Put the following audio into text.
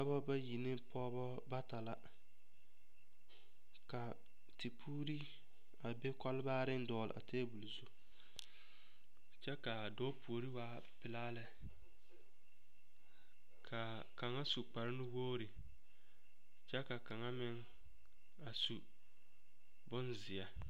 Dɔba bayi ne pɔgeba bata la ka tepuuri a be kɔlbaareŋ dɔgle tabol zu kyɛ k,a dɔɔ puori waa pelaa lɛ k,a kaŋa su kparenuwogri kyɛ ka kaŋa meŋ a su bonzeɛ.